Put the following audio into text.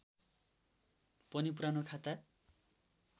पनि पुरानो खाता